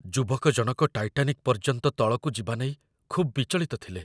ଯୁବକ ଜଣକ ଟାଇଟାନିକ୍ ପର୍ଯ୍ୟନ୍ତ ତଳକୁ ଯିବା ନେଇ ଖୁବ୍ ବିଚଳିତ ଥିଲେ।